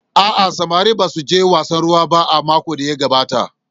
A'a, samarin ba suje wasan ruwa ba a makon da ya gabata.